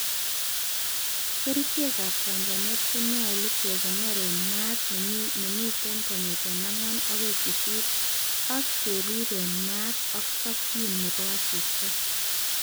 Kerichek ab chanchanet konyolu kekonor en maat nemiten4o-8o,ak kerib en maat ak tokyin nebo asista.